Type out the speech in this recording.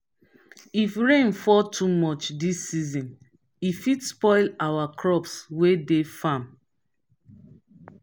if rain fall too much dis season e fit spoil our crops wey dey farm.